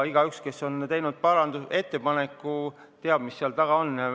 Igaüks, kes on teinud parandusettepaneku, teab, mis seal taga on.